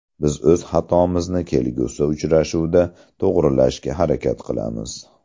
Biz o‘z xatomizni kelgusi uchrashuvda to‘g‘rilashga harakat qilamiz”.